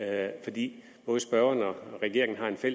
af de